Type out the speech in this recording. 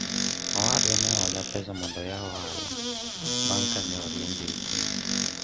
owadwa ne ohola pesa mondo ayaw ohala bang' kane oriemba e tich